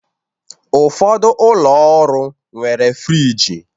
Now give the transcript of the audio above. Ụfọdụ ụlọ ọrụ nwere friji